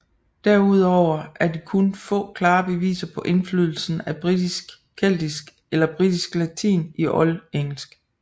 Derudover er de kun få klare beviser på indflydelsen af britisk keltisk eller britisk latin i oldengelsk